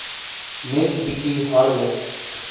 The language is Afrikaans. net bietjie harder